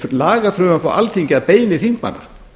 lagafrumvarp á alþingi að beiðni þingmanna